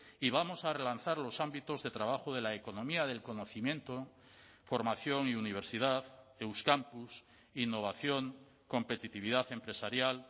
y vamos a relanzar los ámbitos de trabajo de la economía del conocimiento formación y universidad euskampus innovación competitividad empresarial